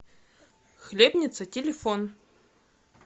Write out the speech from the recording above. хлебница телефон